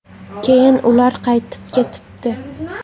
Keyin ular qaytib ketibdi.